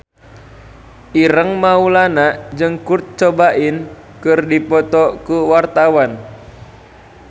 Ireng Maulana jeung Kurt Cobain keur dipoto ku wartawan